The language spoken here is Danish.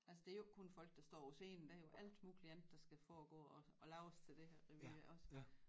Altså det jo ikke kun folk der står på scenen det er jo alt muligt andet der skal foregå og og laves til det her revy også